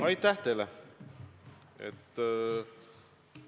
Aitäh teile!